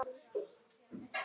Krúna er annað mál.